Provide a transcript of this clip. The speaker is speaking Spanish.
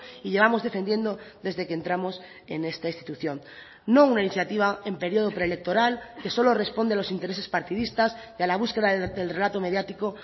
y llevamos defendiendo desde que entramos en esta institución no una iniciativa en periodo preelectoral que solo responde a los intereses partidistas y a la búsqueda del relato mediático